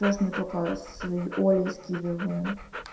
мы только с олей скидываем